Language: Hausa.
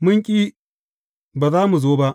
Mun ƙi, ba za mun zo ba!